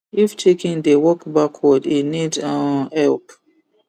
if chicken dey walk backward e need um help